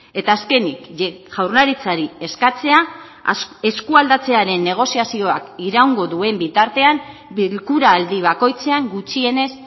eta azkenik jaurlaritzari eskatzea eskualdatzearen negoziazioak iraungo duen bitartean bilkura aldi bakoitzean gutxienez